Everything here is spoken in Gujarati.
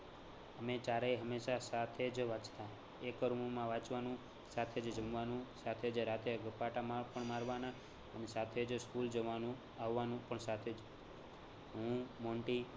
અમે ચારેય હમેશાં સાથે જ વાંચતા એક room માં વાંચવાનું સાથે જ જમવાનુ, સાથે જ રાતે ગપાટા મા પણ મારવાના અને સાથે જ school જવાનું આવવાનુ પણ સાથે જ. હું મોન્ટી